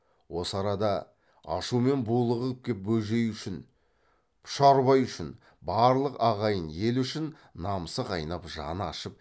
осы арада ашумен булығып кеп бөжей үшін пұшарбай үшін барлық ағайын ел үшін намысы қайнап жаны ашып